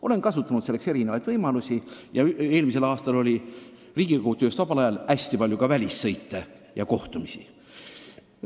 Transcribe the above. Olen kasutanud selleks erinevaid võimalusi ja eelmisel aastal oli Riigikogu tööst vabal ajal hästi palju ka välissõite ja kohtumisi.